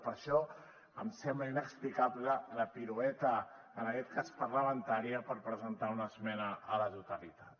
per això em sembla inexplicable la pirueta en aquest cas parlamentària per presentar una esmena a la totalitat